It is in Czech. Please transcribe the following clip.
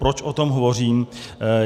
Proč o tom hovořím?